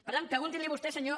per tant preguntinli vostès senyors